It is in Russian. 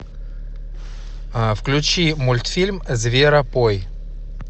включи мультфильм зверопой